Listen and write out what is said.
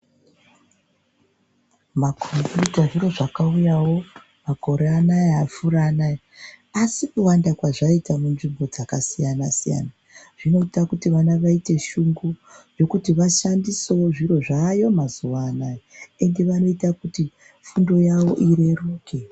Makhombiyuta zviro zvakauyawo makore anaya apfuura anaya. Asi kuwanda kwazvakaita munzvimbo dzakasiyana-siyana ,zvinoita kuti vana vaite shungu zvekuti vashandisewo zviro zvaayo mazuwa anaya, endi vanoita kuti fundo yavo ireruke.